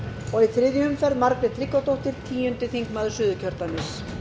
og í þriðju umferð margrét tryggvadóttir tíundi þingmaður suðurkjördæmis